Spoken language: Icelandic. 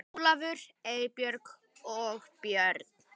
Ólafur, Eybjörg og börn.